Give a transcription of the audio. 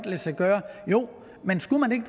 lade sig gøre men skulle man ikke